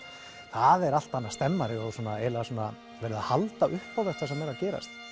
það er allt önnur stemming það er verið að halda upp á þetta sem er að gerast